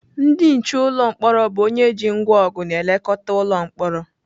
Ndị nche ụlọ mkpọrọ bụ onye ji ngwá ọgụ na-elekọta ụlọ mkpọrọ.